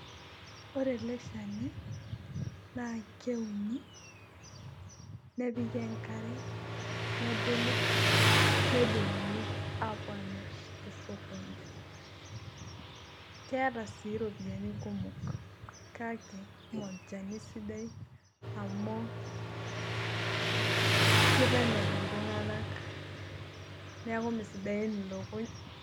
ore ele shani naa keuni, nepiki enkare, nebulu, nedung'uni aapuo aamir tesokoni. keta sii iropiyiani kumok. kake mme olchani sidai amu, kitemer iltunganak neeku mme sidain ilukuny